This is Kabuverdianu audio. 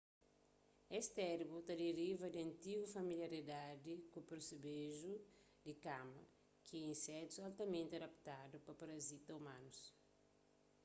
es termu ta deriva di antigu familiaridadi ku persebeju di kama ki é insetus altamenti adaptadu pa parazita umanus